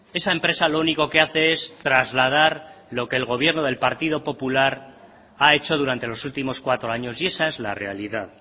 esa empresa lo único que hace es trasladar lo que el gobierno del partido popular ha hecho durante los últimos cuatro años y esa es la realidad